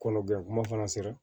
Kɔnɔ gɛlɛn kuma fana sera